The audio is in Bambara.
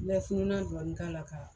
I bɛ fununnan dɔɔni k'a la ka